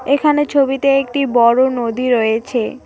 এখানে ছবিতে একটি বড় নদী রয়েছে।